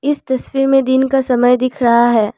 इस तस्वीर में दिन का समय दिख रहा है।